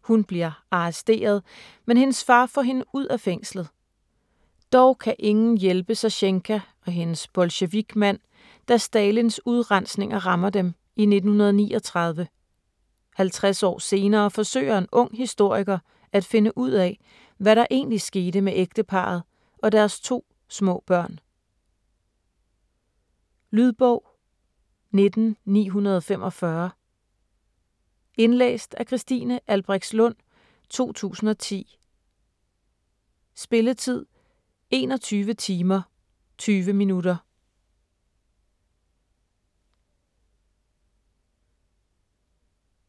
Hun bliver arresteret, men hendes far får hende ud af fængslet. Dog kan ingen hjælpe Sasjenka og hendes bolsjevikmand, da Stalins udrensninger rammer dem i 1939. Halvtreds år senere forsøger en ung historiker at finde ud af, hvad der egentlig skete med ægteparret og deres to små børn. Lydbog 19945 Indlæst af Christine Albrechtslund, 2010. Spilletid: 21 timer, 20 minutter.